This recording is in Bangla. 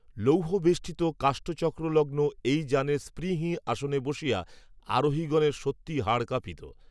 লৌহবেষ্টিত কাষ্ঠচক্রলগ্ন, এই যানের, স্প্রিংহীন আসনে বসিয়া, আরোহীগণের, সত্যই হাড় কাঁপিত